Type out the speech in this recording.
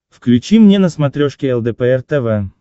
включи мне на смотрешке лдпр тв